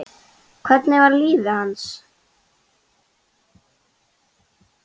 Hvernig var líf hans?